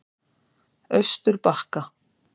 Austurbakka